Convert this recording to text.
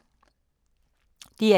DR1